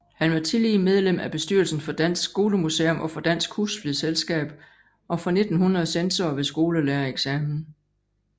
Han var tillige medlem af bestyrelsen for Dansk Skolemuseum og for Dansk Husflidsselskab og fra 1900 censor ved skolelærereksamen